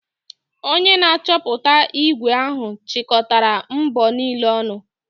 Onye na-achọpụta ígwè ahụ chịkọtara mbọ niile ọnụ.